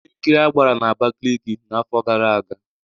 Ihe nkiri a gbara na Abakiliki n'afọ gara aga